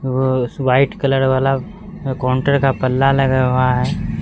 वो उस white colour वाला कॉन्टर का पल्ला लगा हुआ है।